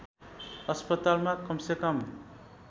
अस्पतालमा कमसेकम